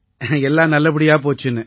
எல்லாம் நல்லபடியா போச்சுன்னு